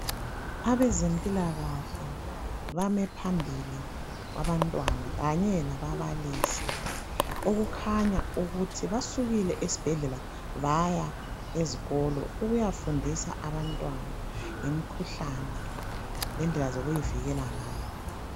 Abezempilakahle bame phambili kwabantwana kanye lababalisi okukhanya ukuthi basukile ezibhedlela baya ezikolo ukuyafundisa abantwana ngemikhuhlane lendlela zokuyivikela ngayo.